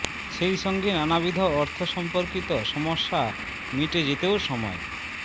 সেই সঙ্গে নানাবিধ অর্থ সম্পর্কিত সমস্যা মিটে যেতেও সময়